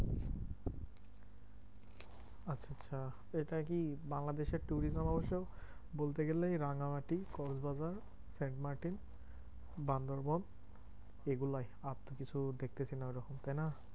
আচ্ছা এটা কি বাংলাদেশের tourism অবশ্য বলতে গেলে এই রাঙামাটি, কক্সবাজার, সেন্ট মার্টিন, বান্দরবন এগুলোই আর তো কিছু দেখতেছি না ঐরকম, তাইনা?